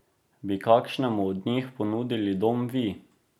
Bi kakšnemu od njih ponudili dom vi?